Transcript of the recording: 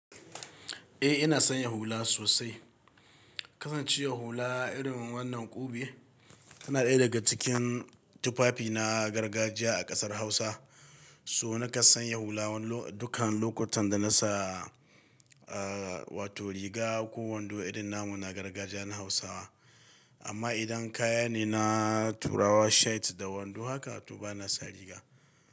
Eh ina son ya hula sosai. Kasancewar hula irin wannan ƙube tana ɗaya daga cikin tufafi na gargajiya a ƙasar Hausa. So nika san ya hula dukan lokutan da na sa, ah, wato riga ko wando irin namu na gargajiya na Hausawa. Amma idan kaya ne na turawa shirt da wando haka, to ba na sa riga.